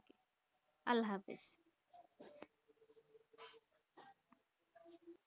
আল্ল্হাফিস